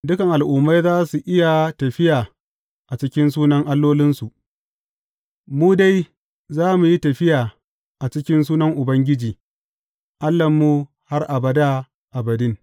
Dukan al’ummai za su iya tafiya a cikin sunan allolinsu; mu dai za mu yi tafiya a cikin sunan Ubangiji Allahnmu har abada abadin.